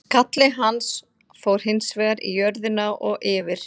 Skalli hans fór hins vegar í jörðina og yfir.